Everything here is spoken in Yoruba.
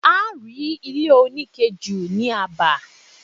A rí ile onike jù ni aba